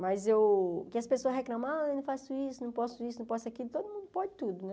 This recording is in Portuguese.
Mas eu, que as pessoas reclamam, ah, eu não faço isso, não posso isso, não posso aquilo, todo mundo pode tudo, né?